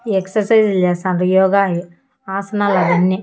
Exercise లు చేస్తార్ను యోగాయి ఆసనాలన్నీ.